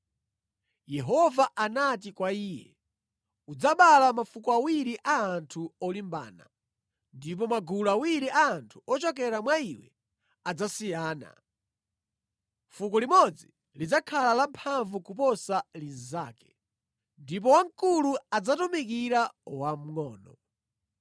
Yehova anati kwa iye, “Udzabala mafuko awiri a anthu olimbana, ndipo magulu awiri a anthu ochokera mwa iwe adzasiyana; fuko limodzi lidzakhala la mphamvu kuposa linzake, ndipo wamkulu adzatumikira wamngʼono.”